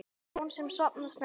Hjón sem sofna snemma